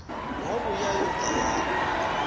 wa vhuṋa yo ḓa ya